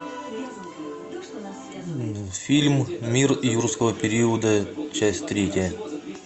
фильм мир юрского периода часть третья